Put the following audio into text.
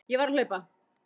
Ég varð að hlaupa.